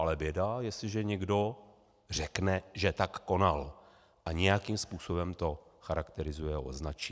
Ale běda, jestliže někdo řekne, že tak konal, a nějakým způsobem to charakterizuje a označí.